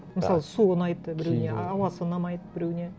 мысалы су ұнайды біреуіне ауасы ұнамайды біреуіне